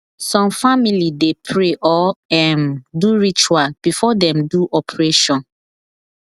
some family de pray or um do ritual before dem do operation